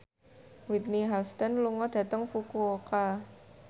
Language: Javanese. Whitney Houston lunga dhateng Fukuoka